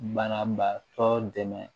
Banabaatɔ dɛmɛ